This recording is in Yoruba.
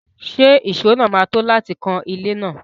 Ṣé ìṣó náà máa tó láti kan ilé náà?